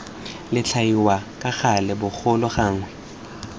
latlhiwa ka gale bogolo gangwe